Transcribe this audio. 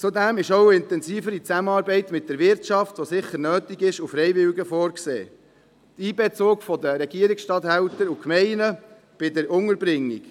Zudem ist auch eine intensivere Zusammenarbeit mit der Wirtschaft, die sicher nötig ist, und mit Freiwilligen vorgesehen sowie der Einbezug der Regierungsstatthalter und der Gemeinden bei der Unterbringung.